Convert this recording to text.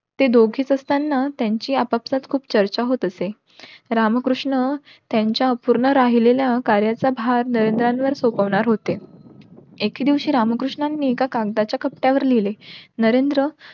ते दोघेच असताना त्यांची आपसात खूप चर्चा होत असे. रामकृष्ण त्यांच्या अपूर्ण राहिलेल्या कार्याचा भर नरेंद्रांवर सोपवणार होते. एके दिवशी रामकृष्णांनी एका कागदाच्या कापट्यावर लिहले. नरेंद्र,